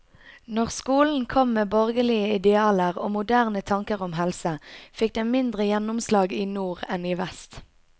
Når skolen kom med borgerlige idealer og moderne tanker om helse, fikk den mindre gjennomslag i nord enn i vest.